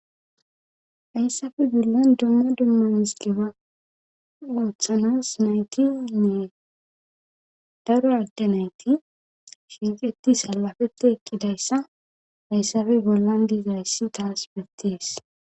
hayssafe bollan dumma dumma misgeba ooththanas naytinne daro adde nayti shirqeti salafepte eqqidayssa hayssafe bollan diizrayssi taas bettees